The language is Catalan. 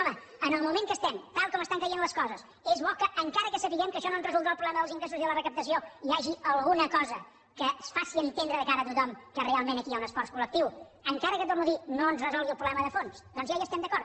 home en el moment en què estem tal com estan caient les coses és bo que encara que sapiguem que això no ens resoldrà el problema dels ingressos i la recaptació hi hagi alguna cosa que es faci entendre de cara a tothom que realment aquí hi ha un esforç col·lectiu encara que ho torno a dir no ens resolgui el problema de fons doncs ja hi estem d’acord